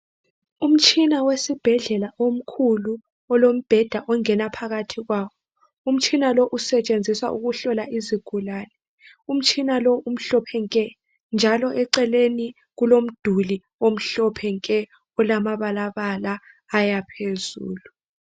Umtshina wesibhedlela omkhulu olombheda ongena phakathi kwawo. Umtshina lo usetshenziswa ukuhlola izigulane, umtshina lo umhlophe nke njalo eceleni kulomduli omhlophe nke olamabala bala ayaphezulu.